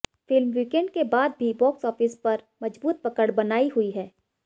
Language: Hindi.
फिल्म वीकेंड के बाद भी बॉक्स ऑफिस पर मजबूत पकड़ बनाई हुई है